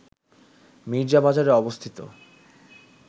মীর্জাবাজারে অবস্থিত